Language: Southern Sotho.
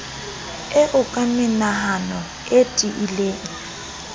eo ka menahano e tiileng